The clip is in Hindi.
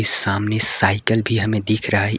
सामने साइकिल भी हमें दिख रहा--